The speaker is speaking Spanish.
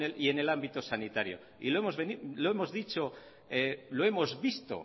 y en el ámbito sanitario y lo hemos dicho lo hemos visto